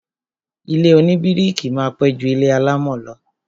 Ilé oníbíríkì máa pẹ́ ju ilé alámọ̀ lọ